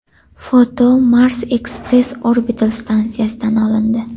Foto Mars Express orbital stansiyasidan olindi.